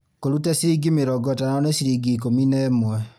Kũruta ciringi mĩrongo ĩtano nĩ ciringi ikũmi na ĩmwe